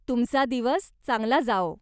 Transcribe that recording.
तुमचा दिवस चांगला जाओ.